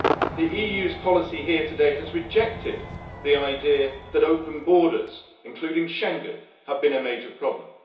The EU's policy here today has rejected the idea that open borders, including Schengen, have been a major problem.